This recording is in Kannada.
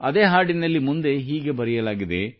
ಅದೇ ಹಾಡಿನಲ್ಲಿ ಮುಂದೆ ಹೀಗೆ ಬರೆಯಲಾಗಿದೆ